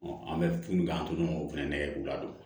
an bɛ min k'an tun o fana nɛgɛ k'u ladon